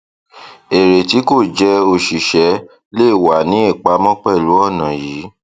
èrè tí kò jẹ òṣìṣẹ lè wa ní ìpamọ pẹlú ònà yìí